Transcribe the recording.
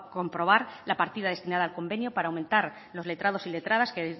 comprobar la partida destinada al convenio para aumentar los letrados y letradas que